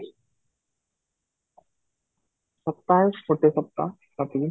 ସପ୍ତାହେ ଗୋଟେ ସପ୍ତାହ